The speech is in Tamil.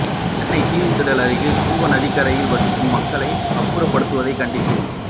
சென்னை தீவுத்திடல் அருகே கூவம் நதிக்கரையில் வசிக்கும் மக்களை அப்புறப்படுத்துவதை கண்டித்து